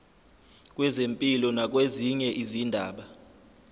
kwezempilo nakwezinye izindaba